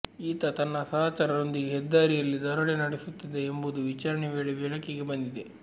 ಈತ ತನ್ನ ಸಹಚರ ರೊಂದಿಗೆ ಹೆದ್ದಾರಿಯಲ್ಲಿ ದರೋಡೆ ನಡೆಸುತ್ತಿದ್ದ ಎಂಬುದು ವಿಚಾರಣೆ ವೇಳೆ ಬೆಳಕಿಗೆ ಬಂದಿದೆ